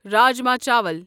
راجما چاول